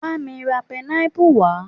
Bá mi ra pineapple wá